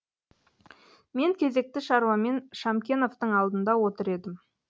мен кезекті шаруамен шамановтың алдында отыр едім